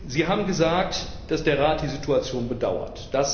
Sie haben gesagt, dass der Rat die Situation bedauert.